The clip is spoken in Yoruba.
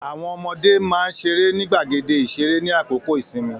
Àwọn ọmọdé máà ń ṣeré ni gbàgéde ìṣeré ní àkókò ìsinmi